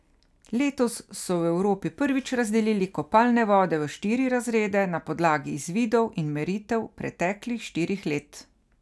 Letos so v Evropi prvič razdelili kopalne vode v štiri razrede na podlagi izvidov in meritev preteklih štirih let.